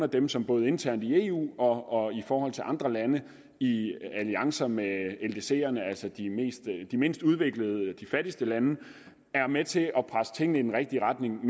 dem som både internt i eu og i forhold til andre lande i alliancer med ldcerne altså de mindst mindst udviklede og fattigste lande er med til at presse tingene i den rigtige retning